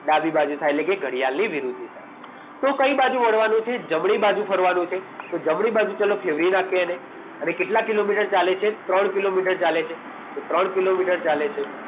ડાબી બાજુ થાય એટલે કે ઘડિયાળની વિરુદ્ધ દિશા તો કઈ બાજુ વળવાનું છે જમણી બાજુ ફેરવાનું છે જમણી બાજુ ચલો ફેરવી નાખી એને અને કેટલા કિલોમીટર ચાલે છે ત્રણ કિલોમીટર ચાલે છે તો ત્રણ કિલોમીટર ચાલે છે